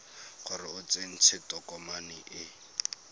gore o tsentse tokomane e